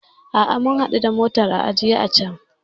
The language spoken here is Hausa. A'a, mun hadu da motar a ajiye a can.